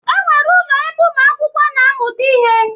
E nwere ụlọ ebe umu akwụkwọ na amuta ihe.